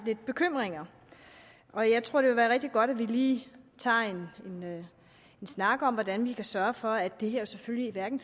lidt bekymring og jeg tror det vil være rigtig godt at vi lige tager en snak om hvordan vi kan sørge for at det her selvfølgelig hverken